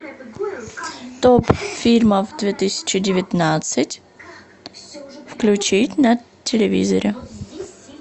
топ фильмов две тысячи девятнадцать включить на телевизоре